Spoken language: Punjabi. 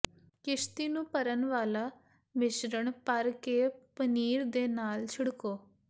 ਕਿਸ਼ਤੀ ਨੂੰ ਭਰਨ ਵਾਲਾ ਮਿਸ਼ਰਣ ਭਰ ਕੇ ਪਨੀਰ ਦੇ ਨਾਲ ਛਿੜਕੋ